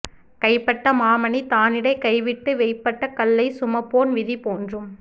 கைப்பட்ட மாமணி தானிடை கைவிட்டு வெய்ப்பட்ட கல்லைச் சுமப்போன் விதி போன்றும்